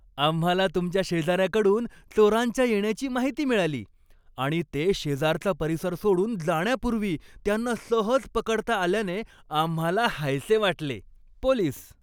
आम्हाला तुमच्या शेजाऱ्याकडून चोरांच्या येण्याची माहिती मिळाली आणि ते शेजारचा परिसर सोडून जाण्यापूर्वी त्यांना सहज पकडता आल्याने आम्हाला हायसे वाटले. पोलीस